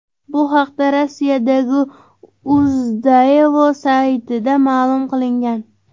Bu haqda Rossiyadagi Uz-Daewoo saytida ma’lum qilingan .